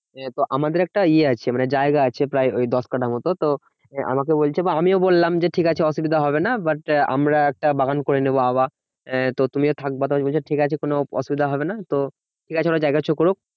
তো আমাদের একটা ইয়ে আছে মানে জায়গা আছে প্রায় ওই দশ কাটা মত। তো আমাকে বলছে বা আমিও বললাম যে ঠিক আছে অসুবিধা হবে না but আমরা একটা বাগান করে নেবো আবার। আহ তো তুমিও থাকবা তো আমায় বলছে ঠিক আছে কোনো অসুবিধা হবে না তো ঠিকাছে ওরা যা করছে করুক।